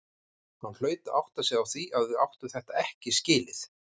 Hann hlaut að átta sig á því að við áttum þetta ekki skilið.